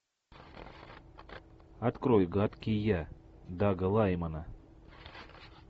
открой гадкий я дага лаймана